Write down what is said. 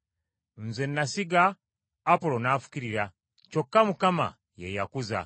Nze nasiga, Apolo n’afukirira, kyokka Katonda ye yakuza.